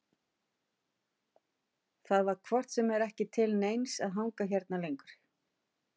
Það var hvort sem er ekki til neins að hanga hérna lengur.